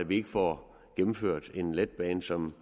vi ikke får gennemført en letbane som